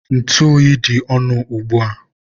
ntụ oyi dị ọnụ ugbua.